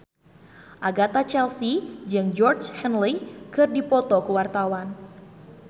Agatha Chelsea jeung Georgie Henley keur dipoto ku wartawan